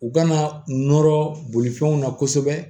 U kana nɔrɔ bolifɛnw na kosɛbɛ